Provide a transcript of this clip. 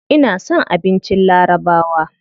Ina son abincin larabawa.